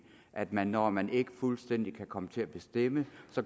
at man når man ikke fuldstændig kan komme til at bestemme